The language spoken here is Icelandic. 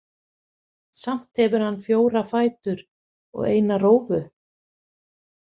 Samt hefur hann fjóra fætur og eina rófu.